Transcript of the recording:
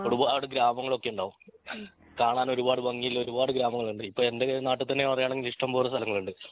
ഒരുപാട് ഗ്രാമങ്ങളൊക്കെ ഉണ്ടാവും കാണാൻ ഒരുപാട് ഭംഗിയുള്ള ഒരുപാട് ഗ്രാമങ്ങളുണ്ട് ഇപ്പൊ എൻ്റെ നാട്ടിൽ തന്നെ പറയാണെങ്കി ഇഷ്ടംപോലെ സ്ഥലങ്ങളുണ്ട്